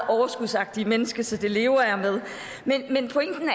overskudsagtigt menneske så det lever jeg med men pointen